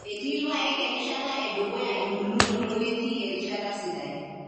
Etii irpaek erishata edukuya embulunoto neetii erishata sidai.